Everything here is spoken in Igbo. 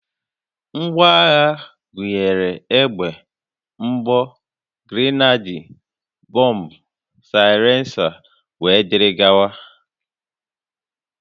Ngwaagha gụnyere egbe, mgbọ, grenade, bọmbụ, saịlensa, wdg